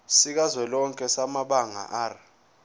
sikazwelonke samabanga r